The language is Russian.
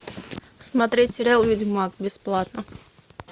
смотреть сериал ведьмак бесплатно